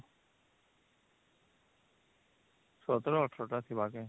୧୭ ୧୮ ଟା ଥିବା କି